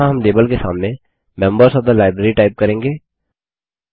यहाँ हम लाबेल के सामने members of the library type करेंगे